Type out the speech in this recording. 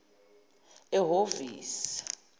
ehovisi